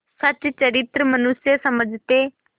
सच्चरित्र मनुष्य समझते